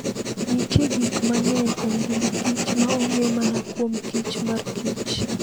Nitie gik mang'eny e ngima Kich ma ong'e mana kuom Kich mar Kich.